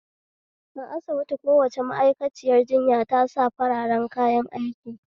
A asibiti kowace ma'aikaciyar jinya ta sa fararen kayan aiki